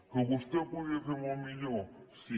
que vostè ho podia fer molt millor sí